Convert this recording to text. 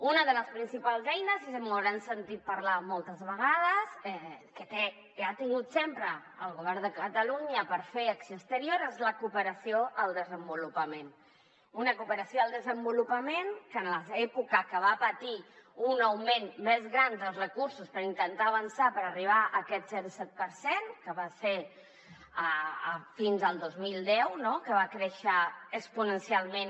una de les principals eines i me’n deuen haver sentit parlar moltes vegades que té i ha tingut sempre el govern de catalunya per fer acció exterior és la cooperació al desenvolupament una cooperació al desenvolupament que en l’època que va patir un augment més gran dels recursos per intentar avançar per arribar a aquest zero coma set per cent que va ser fins al dos mil deu no que va créixer exponencialment